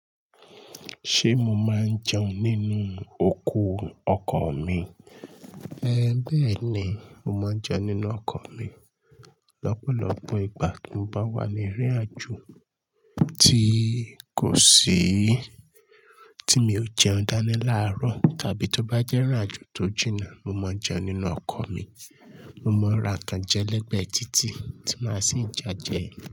Ṣé mo máa ń jẹun nínú oko ọkọ̀ mi? É, bẹ́ẹ̀ ni, mo máa ń jẹun nínú ọkọ̀ mi. Lọ́pọ̀lọ́pọ̀ ìgbà tí mo bá wà ní írin àjò tí kò síi tí mi ò jẹun dání láaròó tàbí tó bá jẹ́ rírin àjò tó jìnnà, mo máa ń jẹun nínú ọkọ̀ mi. Mo máa ń ra nkán jẹ lẹ́gbẹ̀ẹ títì tí màá sì ń ja jẹ ẹ.